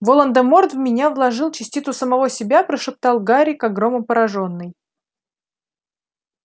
волан-де-морт в меня вложил частицу самого себя прошептал гарри как громом поражённый